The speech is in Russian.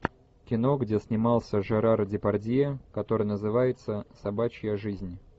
кино где снимался жерар депардье который называется собачья жизнь